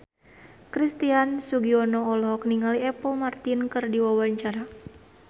Christian Sugiono olohok ningali Apple Martin keur diwawancara